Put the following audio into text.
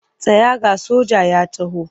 Tsaya ga soja ya taho!